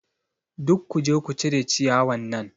Duk kuje ku cire ciyawan nan!